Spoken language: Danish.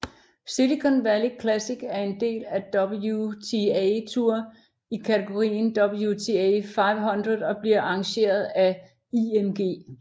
Silicon Valley Classic er en del af WTA Tour i kategorien WTA 500 og bliver arrangeret af IMG